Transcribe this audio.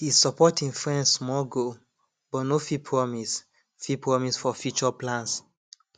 he support him friend small goal but no fit promise fit promise for future plans